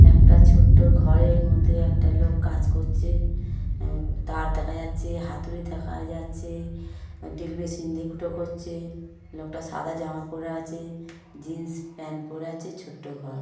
একটা ছোট্ট ঘরের মধ্যে একটা লোক কাজ করছে তার দেখা যাচ্ছে হাতুড়ি দেখা যাচ্ছে ড্রিল মেশিন দিয়ে ফুটো করছে লোকটা সাদা জামা পরে আছে জিন্স প্যান্ট পরে আছে ছোট্ট ঘর ।